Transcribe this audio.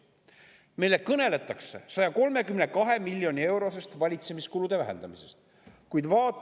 Meile kõneletakse valitsemiskulude vähendamisest 132 miljonit eurot.